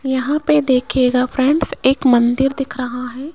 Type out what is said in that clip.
यहां पे देखिएगा फ्रेंड्स एक मंदिर दिख रहा है।